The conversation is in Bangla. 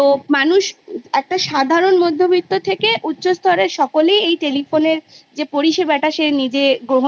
সেখানে দেখা যাবে যে Sixty Percent থেকে বেশি বাচ্ছারা Class Three তে গিয়ে যখন লিখতে শুরু করবে তখন কিন্তু